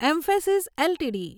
emphasis LTD